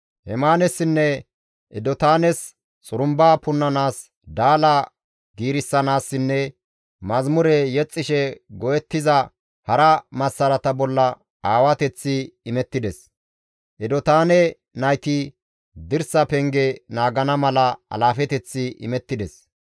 Hemaanessinne Edotaanes xurumba punnanaas, daala giirissanaasinne mazamure yexxishe go7ettiza hara massarata bolla aawateththi isttas imettides; Edotaane nayti dirsa penge naagana mala alaafeteththi imettides.